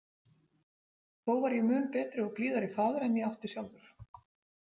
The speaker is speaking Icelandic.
Þó var ég mun betri og blíðari faðir en ég átti sjálfur.